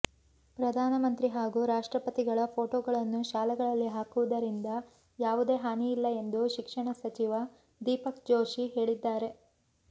ಪ್ರಧಾನ ಮಂತ್ರಿ ಹಾಗೂ ರಾಷ್ಟ್ರಪತಿಗಳ ಫೋಟೋಗಳನ್ನು ಶಾಲೆಗಳಲ್ಲಿ ಹಾಕುವುದರಿಂದ ಯಾವುದೇ ಹಾನಿಯಿಲ್ಲ ಎಂದು ಶಿಕ್ಷಣ ಸಚಿವ ದೀಪಕ್ ಜೋಶಿ ಹೇಳಿದ್ದಾರೆ